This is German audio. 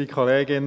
sollen.